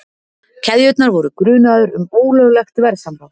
Keðjurnar voru grunaðar um ólöglegt verðsamráð